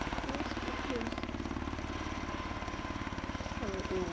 Aqui eu escuto menos, aí eu, eu..